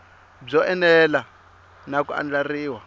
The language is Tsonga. byo enela na ku andlariwa